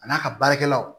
A n'a ka baarakɛlaw